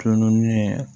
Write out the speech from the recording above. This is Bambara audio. Tulo naani